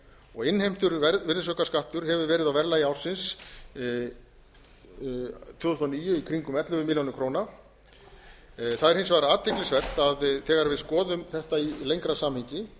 og innheimtur virðisaukaskattur hefur verið á verðlagi ársins tvö þúsund og níu í kringum ellefu milljónir króna það er hins vegar athyglisvert að þegar við skoðum þetta í lengra samhengi